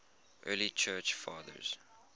early church fathers